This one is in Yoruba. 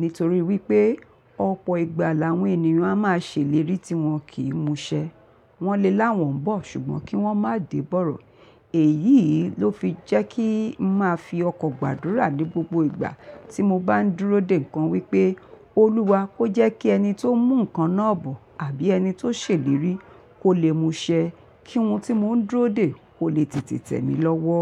Nítorí wípé ọ̀pọ̀ ìgbà làwọn ènìyàn a máa ṣèlérí tí wọn kì í muṣẹ wọ́n le láwọ̀n bó, ṣùgbọ́n kí wọ́n má dìbọ̀rọ̀. Èyí ló fi jẹ́ kí ń máa fi ọkàn gbàdúrà ní gbogbo ìgbà tí mo bá ń dúró dè nǹkan wípé, Olúwa kó jẹ́ kí ẹni tó ń mú nǹkan náà bò àbí ẹni tó ṣèlérí kò lè muṣẹ, kí ohun tí mò ń dúró dè kò lè tètè tẹ̀ mí lọ́wọ́.